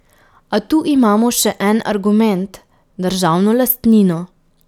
A tu imamo še en argument, državno lastnino.